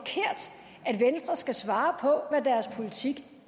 skal svare på hvad deres politik